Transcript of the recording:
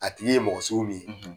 A tigi ye mɔgɔ sugu min ye,